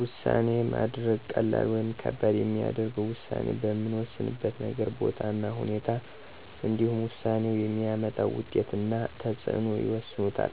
ውሳኔ ማድረግ ቀላል ወይም ከባድ የሚያደርገው ውሳኔ በምንወስንበት ነገር፣ ቦታ እና ሁናቴ እንዲሁም ውሳኔው የሚያመጣው ውጤት እና ተፅዕኖ ይወስኑታል።